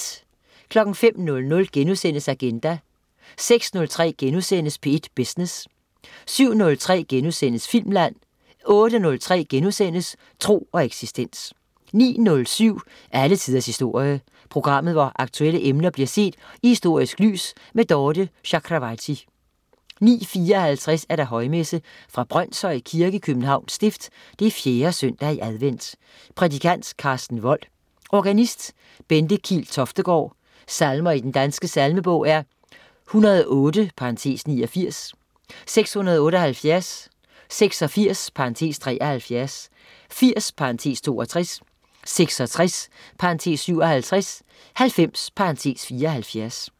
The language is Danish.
05.00 Agenda* 06.03 P1 Business* 07.03 Filmland* 08.03 Tro og eksistens* 09.07 Alle tiders historie. Programmet, hvor aktuelle emner bliver set i historisk lys. Dorthe Chakravarty 09.54 Højmesse. Brønshøj Kirke, Københavns Stift. 4. søndag i advent. Prædikant: Karsten Woll. Organist: Bente Kiil Toftegaard. Salmer i Den Danske Salmebog: 108 (89). 678. 86 (73). 80 (62). 66 (57). 90 (74)